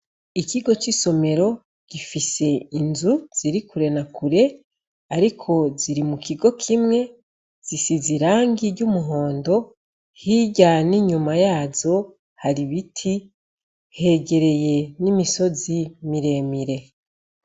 Ikigo c'isomero gifise inzu ziri kurena kure, ariko ziri mu kigo kimwe zisiza irangi ry'umuhondo hiryane inyuma yazo hari ibiti hegereye n'imisozi miremire.